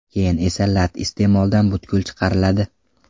Keyin esa lat iste’moldan butkul chiqariladi.